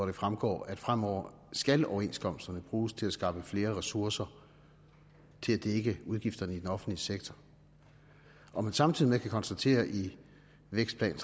det fremgår at fremover skal overenskomsterne bruges til at skaffe flere ressourcer til at dække udgifterne i den offentlige sektor og man samtidig kan konstatere i vækstplanen